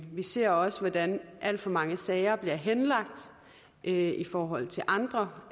vi ser også hvordan alt for mange sager bliver henlagt i forhold til andre